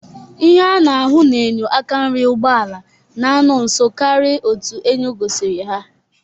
Ihe a na-ahụ n'enyo aka nri ụgbọala n'anọ nso karị otu enyo gosiri ha.